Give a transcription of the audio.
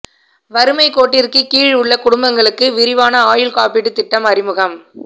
வறுமை கோட்டிற்கு கீழ் உள்ள குடும்பங்களுக்கு விரிவான ஆயுள் காப்பீட்டு திட்டம் அறிமுகம்